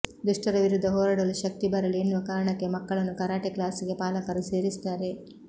ದುಷ್ಟರ ವಿರುದ್ಧ ಹೋರಾಡಲು ಶಕ್ತಿ ಬರಲಿ ಎನ್ನುವ ಕಾರಣಕ್ಕೆ ಮಕ್ಕಳನ್ನು ಕರಾಟೆ ಕ್ಲಾಸಿಗೆ ಪಾಲಕರು ಸೇರಿಸ್ತಾರೆ